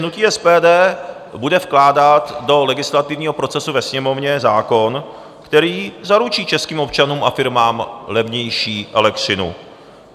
Hnutí SPD bude vkládat do legislativního procesu ve Sněmovně zákon, který zaručí českým občanům a firmám levnější elektřinu.